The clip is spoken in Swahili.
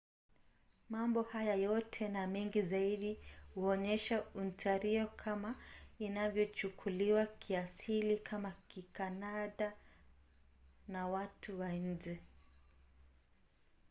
mambo haya yote na mengi zaidi huonyesha ontario kama inavyochukuliwa kiasili kama kikanada na watu wa nje